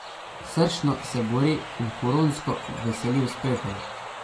Srčno se bori in huronsko veseli uspehov.